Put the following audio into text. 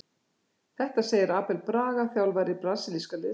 Þetta segir Abel Braga, þjálfari brasilíska liðsins.